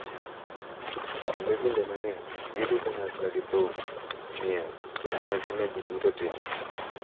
Kendo kinde mang’eny gidhi kanyakla gi thum, miel, kod nyasi ma ji duto timo.